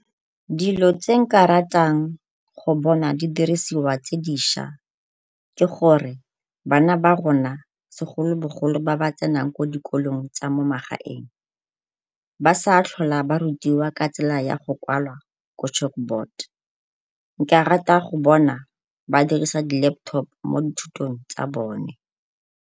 Dilo tse nka ratang go bona di dirisiwa tse dišwa ke gore bana ba rona segolobogolo ba ba tsenang ko dikolong tsa mo magaeng ba sa tlhola ba rutiwa ka tsela ya go kwala ko chalk board. Nka rata go bona ba dirisa di-laptop mo dithutong tsa bone.